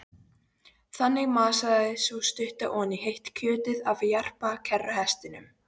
Þannig masaði sú stutta oní heitt kjötið af jarpa kerruhestinum.